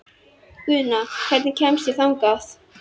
Guðna, hvernig kemst ég þangað?